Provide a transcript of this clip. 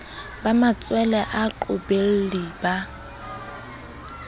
ba matshwele a baqobelli ba